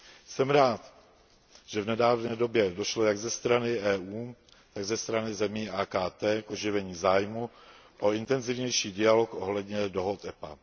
Jsem rád, že v nedávné době došlo jak ze strany EU, tak ze strany zemí AKT k oživení zájmu o intenzivnější dialog ohledně dohod EPA.